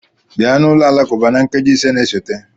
Bịa n'ụlọ alakụba na nkeji ise na-esote!